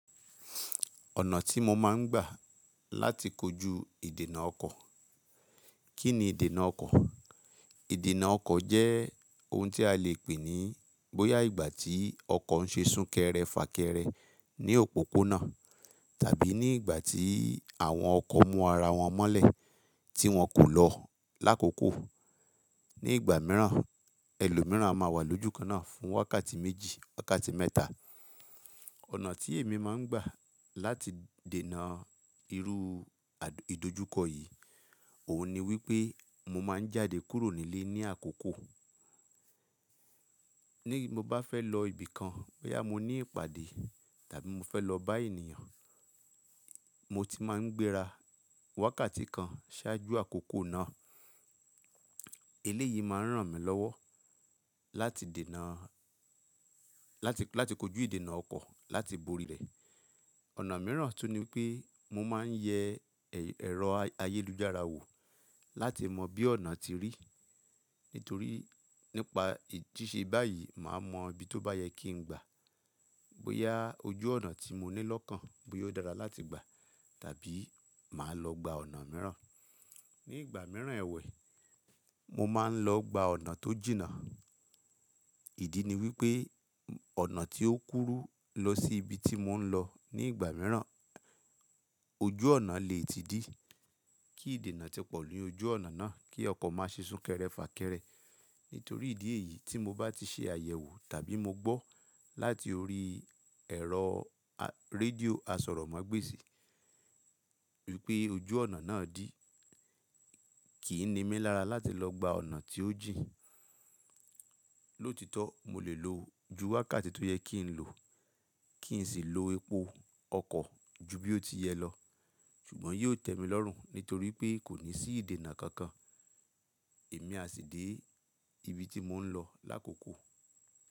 Ọ̀nà tí mo máa ń gbà láti kojú ìdènà ọkọ̀. Kí ni ìdènà ọkọ̀? Ìdènà ọkọ̀ jẹ́ ohun tí a lè pè ní bóyá ìgbà tí ọkọ̀ ń ṣe sún kẹrẹ fà kẹrẹ ní òpópónà tàbí ní ìgbà tí àwọn ọkọ̀ mú ara wọn mọ́lẹ̀ tí wọn kò lọ lákòókò. Ní ìgbà mìíràn, ẹlòmíràn a máa wà lójú kan náà fún wákàtí méjì, wákàtí mẹ́ta. Ọ̀nà tí èmi máa ń gbà láti dènà irú ìdojúkọ yìí, òun ni wípé mo máa ń jáde kúrò nílé ní àkókò. Ni mo bá fẹ́ lọ ibìkan, bóyá mo ní ìpàdé tàbí mo fẹ́ lọ bá ènìyàn, mo ti máa ń gbéra wákàtí kan ṣáájú àkókò náà. Eléyìí máa ń ràn mí lọ́wọ́ láti dènà, láti, láti kojú ìdènà ọkọ̀ láti borí rẹ̀. Ọ̀nà mìíràn tún ni pé mo máa ń yẹ ẹ̀rọ ayélujára wò láti mọ bí ọ̀nà ti rí. Nítorí nípa ìjísẹ́ báyìí, màá mọ bí tó bá yẹ kí n gbà. Bóyá ojú ọ̀nà tí mo ní lọ́kàn bóyá ó dára láti gbà tàbí màá lọ gba ọ̀nà mìíràn. Ní ìgbà mìíràn ẹ̀wẹ̀, mo máa ń lọ gba ọ̀nà tó jìnnà. Ìdí ni wípé ọ̀nà tí ó kúrú lọ sí ibi tí mò ń lọ ní ìgbà mìíràn, ojú ọ̀nà lè ti dí. Kí ìdènà tí pọ̀ lórí ojú ọ̀nà náà kí ọkọ̀ má ṣe sún kẹrẹ fà kẹrẹ. Nítorí ìdí èyí tí mo bá ti ṣe àyẹ̀wò tàbí mo gbọ́ láti orí ẹ̀rọ rédíò asọ̀rọ̀mágbèsì wípé ojú ọ̀nà náà dí, kì í ni mélara láti lọ gba ọ̀nà tí ó jìnnà. Lótítọ́ mo lè lo ju wákàtí tó yẹ kí n lò kí n sì lo epo ọkọ̀ ju bí ó ti yẹ lọ. Ṣùgbọ́n yóò tẹ mi lọ́rùn nítorí pé kò ní sí ìdènà kankan. Èmi a sì dé ibi tí mò ń lọ lákòókò.